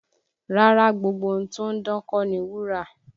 Rárá, gbogbo ohun tó ń dán kọ́ ni wúrà